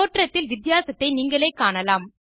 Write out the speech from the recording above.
தோற்றத்தில் வித்தியாசத்தை நீங்களே காணலாம்